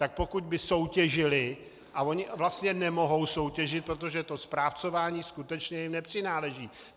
Tak pokud by soutěžily, a ony vlastně nemohou soutěžit, protože to správcování skutečně jim nepřináleží.